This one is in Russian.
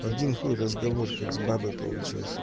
один хуй разговор как с бабой получился